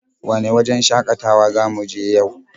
Wane wajen shakatawa za mu je yau?